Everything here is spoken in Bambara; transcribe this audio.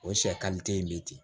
O sɛ kan te yen bi ten